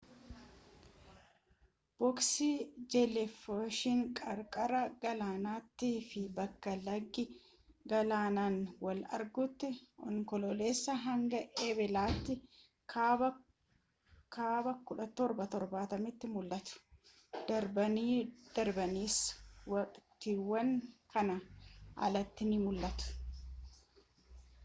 booksi jeeliifiish qarqara galaanaatii fi bakka lagi galaanaan wal argutti onkoloolessaa hanga eblaatti kaaba 1770 tti mul'atu darbanii darbaniis waqtiiwwan kanaa alatti ni mul'atu